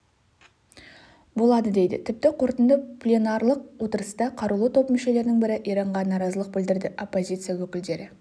болады дейді тіпті қорытынды пленарлық отырыста қарулы топ мүшелерінің бірі иранға наразылық білдірді оппозиция өкілдері